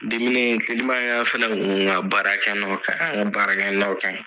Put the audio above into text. Diminen fili ma y'a fɛnɛ huun ŋa baarakɛnɔ ka baarakɛnɔ kaɲi.